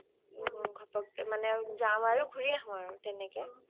ও ঘপক যাও আৰু ঘুৰি আহো আৰু তেনেকে